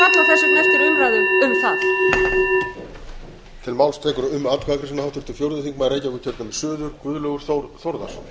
annar valkostur verið lagður hér á borðið enginn og við hljótum að kalla þess vegna eftir umræðu um það